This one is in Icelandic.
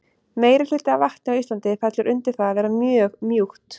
meirihluti af vatni á íslandi fellur undir það að vera mjög mjúkt